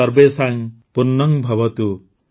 ସର୍ବେଷାଂ ପୂର୍ଣ୍ଣଂଭବତୁ